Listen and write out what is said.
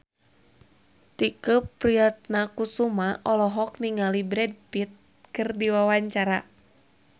Tike Priatnakusuma olohok ningali Brad Pitt keur diwawancara